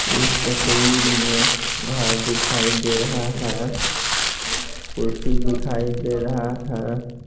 इस तस्वीर में घर दिखाई दे रहा है कुर्सी दिखाई दे रहा है।